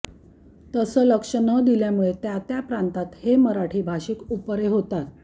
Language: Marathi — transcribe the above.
तसं लक्ष न दिल्यामुळे त्या त्या प्रांतात हे मराठी भाषिक उपरे होतात